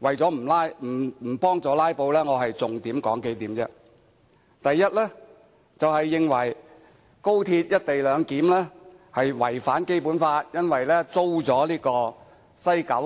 為了不幫助"拉布"，我只說出數項重點：第一，認為高鐵"一地兩檢"違反《基本法》，因為香港將租出西九